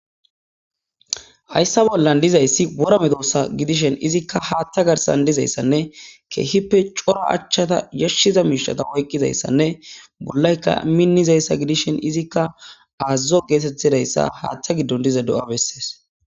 hayssa bollan dizayssi wora medossa gidishen izikka haaththa garsan dizayssanne keehippe cora achchata yashshiza miishata oykqizayssanne bollaykka minnizayssa gidishen izikka aazazo geetettidayssa haaththa giddon diza do7a bessees